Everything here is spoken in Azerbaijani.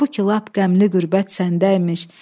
Halbuki lap qəmli qürbət səndəymiş.